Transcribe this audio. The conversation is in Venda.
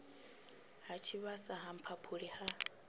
ha tshivhasa ha mphaphuli ha